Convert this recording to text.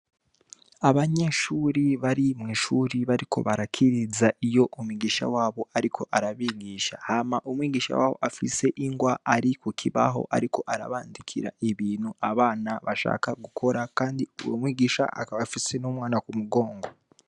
Abanyeshuri bari mw' ishuri bariko barakiriza iyo umwigisha wabo ariko arabigisha . Hama, umwigisha wabo ari ku kibaho ariko arabandikira ibintu abana bashaka gukora kandi uwo mwigisha akaba afise umwana ku mugongo.